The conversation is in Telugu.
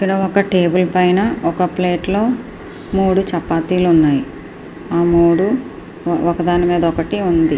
ఇక్కడ ఒక టేబుల్ పైన ఒక ప్లేట్ లోని మూడు చపాతీలు ఉన్నాయి ఒకదాని మీద ఒకటి ఉంది.